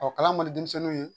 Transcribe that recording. Ɔɔ kalan man di denmisɛnninw ye.